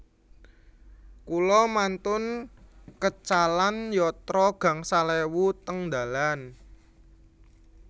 Kula mantun kecalan yatra gangsal ewu teng dalan